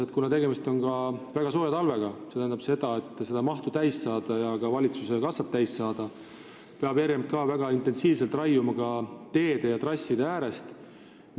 Kuna tegemist on väga sooja talvega, siis see tähendab, et selleks, et mahtu täis saada ja valitsuse kassat täita, peab RMK väga intensiivselt raiuma ka teede ja trasside äärest.